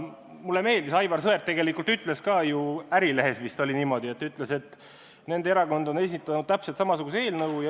Mulle meeldis, et Aivar Sõerd tegelikult ütles ka – Ärilehes vist oli niimoodi –, et nende erakond on esitanud täpselt samasuguse eelnõu.